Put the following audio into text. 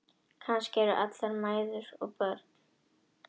Kannski eru allar mæður börn.